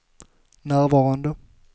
närvarande